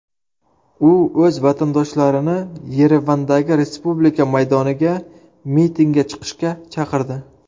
U o‘z vatandoshlarini Yerevandagi Respublika maydoniga mitingga chiqishga chaqirdi .